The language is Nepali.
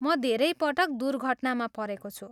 म धेरै पटक दुर्घटनामा परेको छु।